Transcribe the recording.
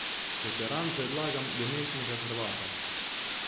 Za teran predlagam dementnega Hrvata.